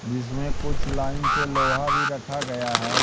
जिसमें कुछ लाइन से लोहा भीं रखा गया हैं।